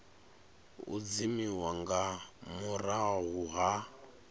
u dzimiwa nga murahu ha